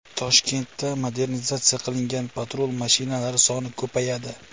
Toshkentda modernizatsiya qilingan patrul mashinalari soni ko‘payadi.